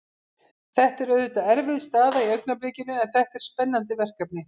Þetta er auðvitað erfið staða í augnablikinu en þetta er spennandi verkefni.